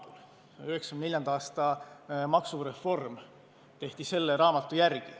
1994. aasta maksureform tehti selle raamatu järgi.